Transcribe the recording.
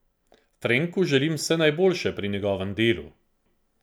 Frenku želim vse najboljše pri njegovem delu.